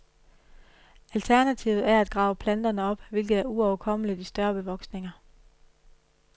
Alternativet er at grave planterne op, hvilket er uoverkommeligt i større bevoksninger.